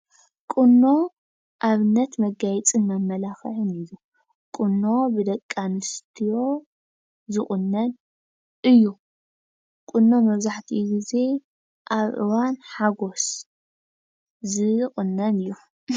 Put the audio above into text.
ቁኖ አብነት መጋየፅን መመላኽዕን እዪ። ቁኖ ብደቂ አንስትዮ ዝቁነን እዪ። ቁኖ መብዛሕቲኡ ግዜ አብ እዋን ሓጎስ ዝቁነን እዪ።